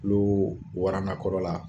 N'uu waranda kɔrɔla